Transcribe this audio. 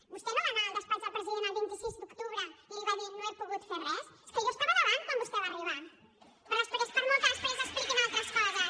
vostè no va anar al despatx del president el vint sis d’octubre i li va dir no he pogut fer res és que jo estava davant quan vostè va arribar per molt que després expliquin altres coses